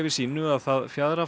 sínu að það fjaðrafok